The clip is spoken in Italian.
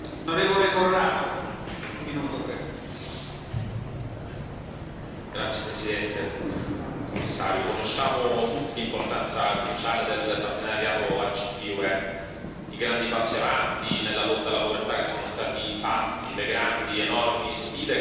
Signor Presidente, onorevoli colleghi, signor Commissario, conosciamo tutti l'importanza cruciale del partenariato ACP UE, i grandi passi avanti nella lotta alla povertà che sono stati fatti e le grandi ed enormi sfide che però abbiamo ancora davanti.